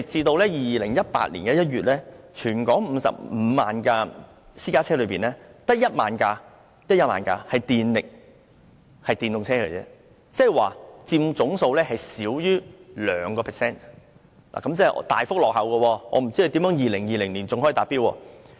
但是，截至2018年1月，在全港55萬輛私家車中只有1萬輛是電動車，即是佔總數少於 2%， 即是大幅落後於目標，我也不知如何在2020年達標。